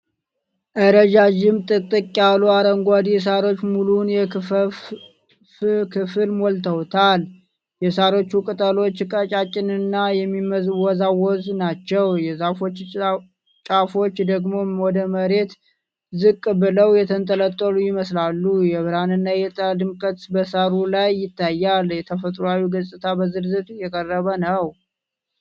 ረዣዥም፣ ጥቅጥቅ ያሉ አረንጓዴ ሣሮች ሙሉውን የክፈፍ ክፍል ሞልተውታል። የሣሮቹ ቅጠሎች ቀጫጭንና የሚወዛወዙ ናቸው። የዛፉ ጫፎች ደግሞ ወደ መሬት ዝቅ ብለው የተንጠለጠሉ ይመስላሉ። የብርሃንና የጥላ ድብልቅ በሳሩ ላይ ይታያል። ተፈጥሯዊው ገጽታ በዝርዝር የቀረበ ነው።